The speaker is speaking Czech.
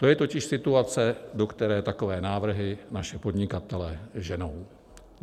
To je totiž situace, do které takové návrhy naše podnikatele ženou.